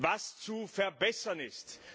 was zu verbessern ist.